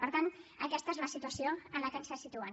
per tant aquesta és la situació en què ens situen